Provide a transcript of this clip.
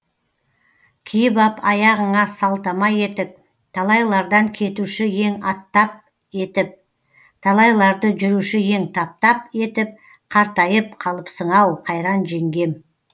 киіп ап аяғыңа салтама етік талайлардан кетуші ең аттап етіп талайларды жүруші ең таптап етіп қартайып қалыпсың ау қайран жеңгем